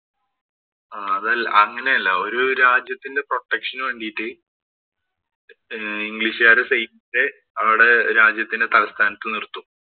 അതല്ല അങ്ങനെയല്ല. ഒരു രാജ്യത്തിന്‍റെ protection ഉ വേണ്ടീട്ട് ഇംഗ്ലിഷുകാരുടെ അവരുടെ രാജ്യത്തിന്‍റെ തലസ്ഥാനത്ത് നിര്‍ത്തും.